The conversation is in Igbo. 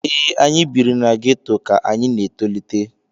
ee, anyị biri na geto ka anyị na-etolite